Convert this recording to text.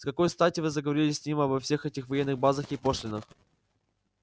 с какой стати вы заговорили с ним обо всех этих военных базах и пошлинах